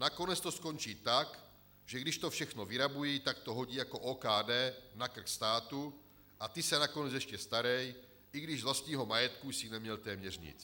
Nakonec to skončí tak, že když to všechno vyrabují, tak to hodí jako OKD na krk státu, a ty se nakonec ještě starej, i když z vlastního majetku jsi neměl téměř nic.